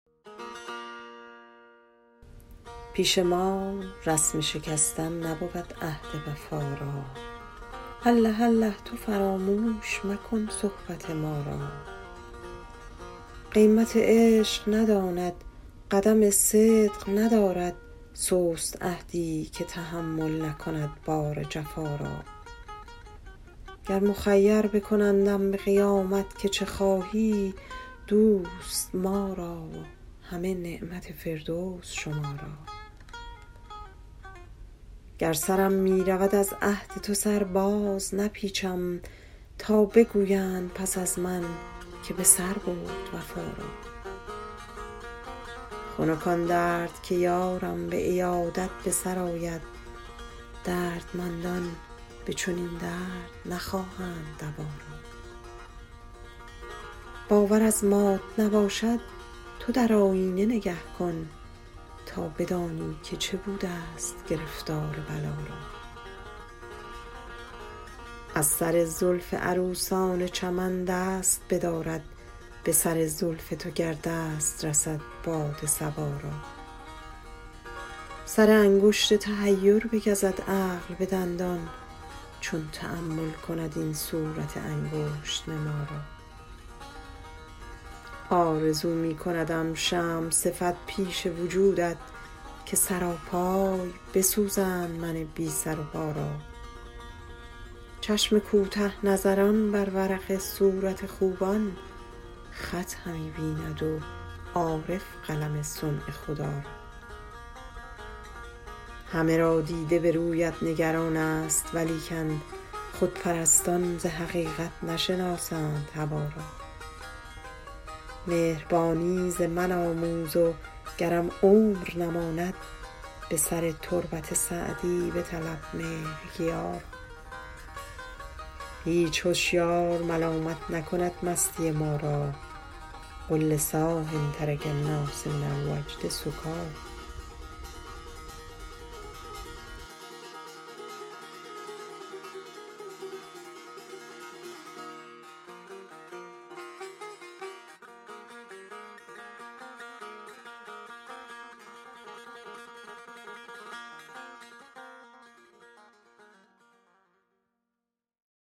پیش ما رسم شکستن نبود عهد وفا را الله الله تو فراموش مکن صحبت ما را قیمت عشق نداند قدم صدق ندارد سست عهدی که تحمل نکند بار جفا را گر مخیر بکنندم به قیامت که چه خواهی دوست ما را و همه نعمت فردوس شما را گر سرم می رود از عهد تو سر بازنپیچم تا بگویند پس از من که به سر برد وفا را خنک آن درد که یارم به عیادت به سر آید دردمندان به چنین درد نخواهند دوا را باور از مات نباشد تو در آیینه نگه کن تا بدانی که چه بودست گرفتار بلا را از سر زلف عروسان چمن دست بدارد به سر زلف تو گر دست رسد باد صبا را سر انگشت تحیر بگزد عقل به دندان چون تأمل کند این صورت انگشت نما را آرزو می کندم شمع صفت پیش وجودت که سراپای بسوزند من بی سر و پا را چشم کوته نظران بر ورق صورت خوبان خط همی بیند و عارف قلم صنع خدا را همه را دیده به رویت نگران ست ولیکن خودپرستان ز حقیقت نشناسند هوا را مهربانی ز من آموز و گرم عمر نماند به سر تربت سعدی بطلب مهرگیا را هیچ هشیار ملامت نکند مستی ما را قل لصاح ترک الناس من الوجد سکاریٰ